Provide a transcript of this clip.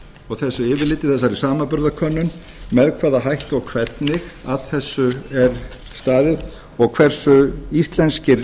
og þessu yfirliti þessari samanburðarkönnun með hvaða hætti og hvernig að þessu er staðið og hversu íslenskir